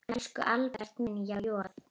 Elsku Albert minn, há joð.